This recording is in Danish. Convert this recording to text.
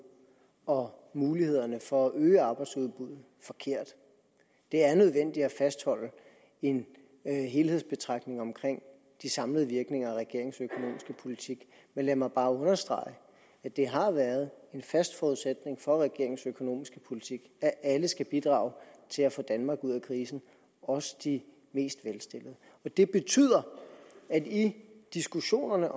og mulighederne for at øge arbejdsudbuddet det er nødvendigt at fastholde en helhedsbetragtning omkring de samlede virkninger af regeringens økonomiske politik men lad mig bare understrege at det har været en fast forudsætning for regeringens økonomiske politik at alle skal bidrage til at få danmark ud af krisen også de mest velstillede og det betyder at i diskussionerne